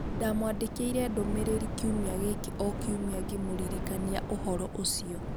Ndamwandĩkĩire ndũmĩrĩri kiumia gĩkĩ o kiumia ngĩmũririkania ũhoro ũcio.